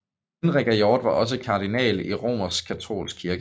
Henrik af York var også kardinal i Romerskkatolske kirke